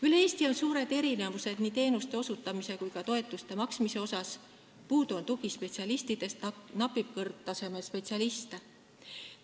Üle Eesti on suured erinevused nii teenuste osutamisel kui ka toetuste maksmisel, puudu on tugispetsialistidest, napib kõrgtasemega spetsialiste.